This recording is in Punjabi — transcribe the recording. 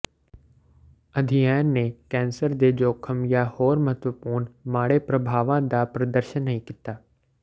ਅਧਿਐਨ ਨੇ ਕੈਂਸਰ ਦੇ ਜੋਖਮ ਜਾਂ ਹੋਰ ਮਹੱਤਵਪੂਰਣ ਮਾੜੇ ਪ੍ਰਭਾਵਾਂ ਦਾ ਪ੍ਰਦਰਸ਼ਨ ਨਹੀਂ ਕੀਤਾ